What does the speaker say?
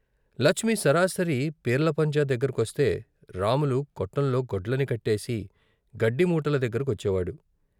లచ్మి సరాసరి పీర్ల పంజా దగ్గరకొస్తే రాములు కొట్టంలో గొడ్లని కట్టేసి గడ్డి మూటలు దగ్గర కొచ్చేవాడు.